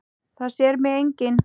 Það sér mig enginn.